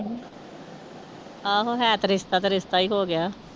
ਆਹੋ ਹੈ ਤੇ ਰਿਸ਼ਤਾ ਤੇ ਰਿਸ਼ਤਾ ਹੀ ਹੋ ਗਿਆ।